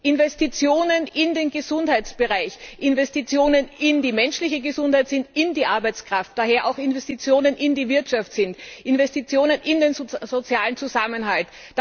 Investitionen in den Gesundheitsbereich, Investitionen in die menschliche Gesundheit sind Investitionen in die Arbeitskraft, sind daher auch Investitionen in die Wirtschaft, Investitionen in den sozialen Zusammenhalt.